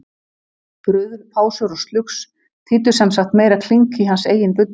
Bruðl, pásur og slugs þýddu sem sagt meira klink í hans eigin buddu.